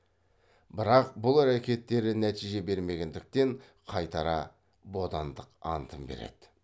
бірақ бұл әрекеттері нәтиже бермегендіктен қайтара бодандық антын береді